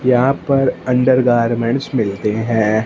यहां पर अंडरगारमेंट्स मिलते है।